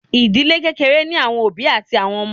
Ìdílé kékeré ní àwọn òbí àti ọmọ.